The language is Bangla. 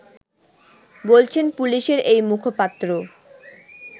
বলছেন পুলিশের এই মুখপাত্র